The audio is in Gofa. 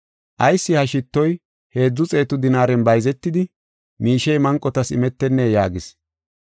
“Ayis ha shittoy heedzu xeetu dinaaren bayzetidi, miishey manqotas imetennee?” yaagis.